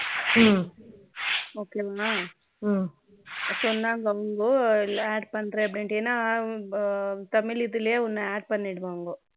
okay மா சொன்னாங்க இல்ல add பண்றேன் அப்படின்னு ஏன்னா தமிழ் இதிலேயே உன்னைய add பண்ணிருவாங்க